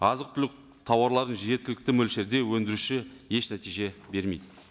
азық түлік тауарларын жеткілікті мөлшерде өндіруші еш нәтиже бермейді